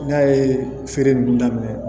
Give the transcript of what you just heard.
N'a ye feere nunnu daminɛ